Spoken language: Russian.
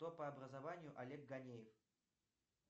кто по образованию олег ганеев